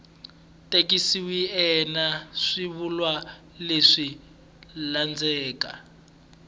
tikisiweke eka swivulwa leswi landzelaka